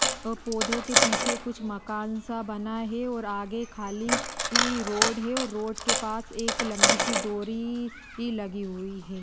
अह पौधो के पीछे कुछ मकान सा बना है और आगे खाली ही रोड है और रोड के पास एक लंबी सी डोरी ही लगी हुई है।